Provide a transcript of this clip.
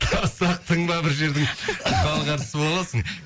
тастақтың ба бір жердің халық әртісі боласың